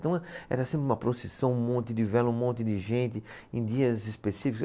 Então, era sempre uma procissão, um monte de vela, um monte de gente em dias específicos.